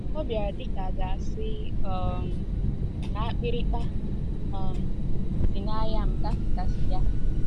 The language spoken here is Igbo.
“ O bịara dị ka a ga-asị um na akpịrịkpa um si n’anya m Dapụtasịa ”